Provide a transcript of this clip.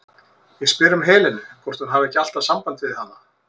Ég spyr um Helenu, hvort hún hafi ekki alltaf samband við hana?